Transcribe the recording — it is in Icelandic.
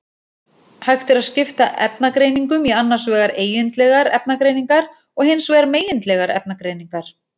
Hægt er að skipta efnagreiningum í annars vegar eigindlegar efnagreiningar og hins vegar megindlegar efnagreiningar.